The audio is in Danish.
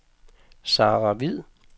Sara Hviid